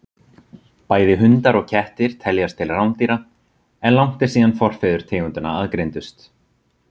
Bæði hundar og kettir teljast til rándýra, en langt er síðan forfeður tegundanna aðgreindust.